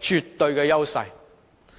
絕對的優勢。